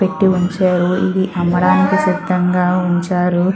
పెట్టి ఉంచారు ఇది అమ్మడానికి సిద్దం గా ఉంచారు.